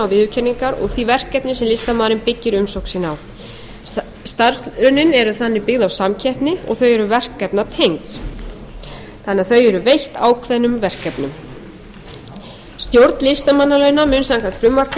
viðurkenningar og því verkefni sem listamaðurinn byggir umsókn sína á starfslaunin eru þannig byggð á samkeppni og þau eru verkefnatengd þannig að þau eru veitt ákveðnum verkefnum stjórn listamannalauna mun samkvæmt frumvarpinu